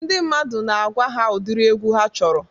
Ndị mmadụ na-agwa ha ụdiri egwu ha chọrọ.